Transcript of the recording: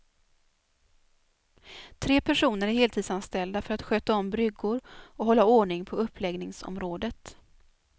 Tre personer är heltidsanställda för att sköta om bryggor och hålla ordning på uppläggningsområdet.